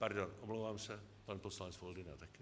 Pardon, omlouvám se, pan poslanec Foldyna taky.